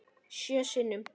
Sjö sinnum.